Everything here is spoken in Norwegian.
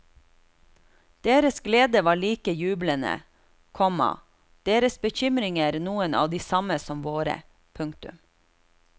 Deres glede var like jublende, komma deres bekymringer noen av de samme som våre. punktum